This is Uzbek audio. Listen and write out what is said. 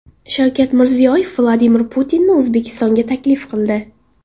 Shavkat Mirziyoyev Vladimir Putinni O‘zbekistonga taklif qildi.